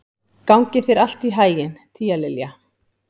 Gangi þér allt í haginn, Tíalilja.